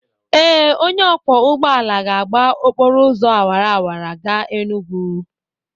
Ee, onye ọkwọ ụgbọala ga-agba okporo ụzọ awara awara gaa Enugwu.